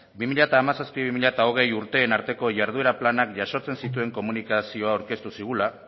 bi mila hamazazpi bi mila hogei urteen arteko jarduera planak jasotzen zituen komunikazioa aurkeztu zigula